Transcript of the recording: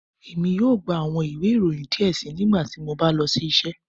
Emi yoo gba awọn iwe iroyin diẹ sii nigbati mo ba lọ si iṣẹ